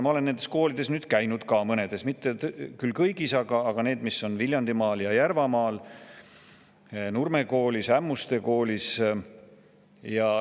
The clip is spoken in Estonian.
Ma olen nendes koolides nüüd ka käinud, mitte küll kõigis, aga nendes, mis on Viljandimaal ja Järvamaal: Nurme Koolis ja Ämmuste Koolis.